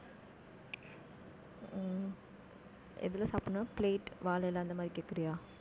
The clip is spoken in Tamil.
ஹம் எதுல சாப்பிடணும்ன்னா plate வாழை இலை, அந்த மாதிரி கேட்கிறியா